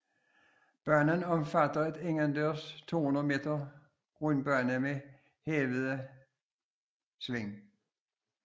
Banen omfatter en indendørs 200 meter rundbane med hævede sving